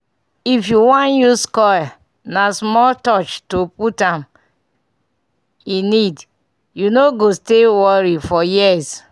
if you wan use coil na small touch to put am e need - u no go stay worry for years.